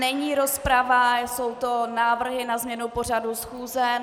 Není rozprava, jsou to návrhy na změnu pořadu schůze.